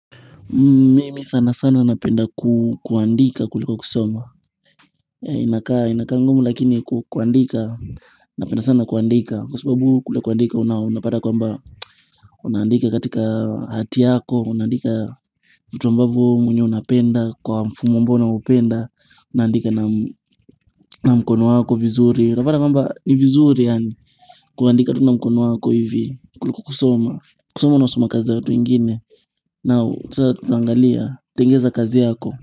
Mimi sana sana napenda kuandika kuliko kusoma Inakangumu lakini kuandika napenda sana kuandika Kwa sababu kule kuandika unapata kwamba Unaandika katika hati yako Unaandika vitu ambavo wemwenyewe unapenda Kwa mfumo amboa unaupenda Unaandika na mkono wako vizuri Unapata kwamba ni vizuri kuandika tu na mkono wako hivi kuliko kusoma kusoma na usoma kazi za watu wengine na sasa tulangalia tengeneza kazi yako.